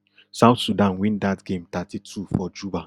south sudan win dat game thirty-two for juba